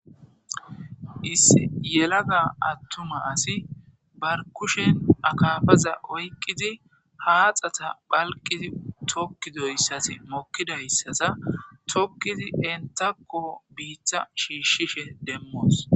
isi yelaga attuma asi barkushen akaafaza oyqqizi haaxata phalqizi tokkidoyssas mokkidayssasa tokkizi entako biitta shiishshishe demmoos